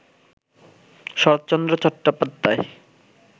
Saratchandra Chattopadhyay